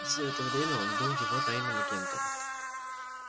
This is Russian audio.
всё это время он был его тайным агентом